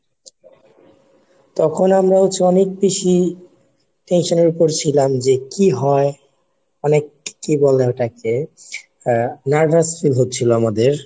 তখন আমরা হচ্ছি অনেক tension এর উপর ছিলাম যে কি হয় মানে কি বলে ওটাকে আহ nervous fill হচ্ছিল আমাদের,